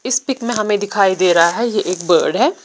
इस पीक मे हमे दिखाई दे रहा है ये एक बेड है।